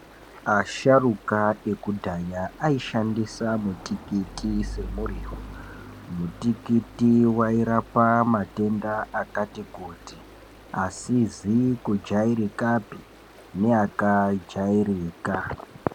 Asharuka ekudhaya aishandisa mutikiti semuriwo, mutikiti wairapa matenda akati kuti asizi kujairikapi neakajairika.